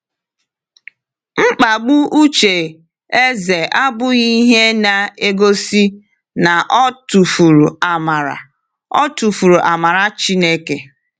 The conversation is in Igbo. Mkpagbu uche Eze abụghị ihe na-egosi na o tufuru amara o tufuru amara Chineke.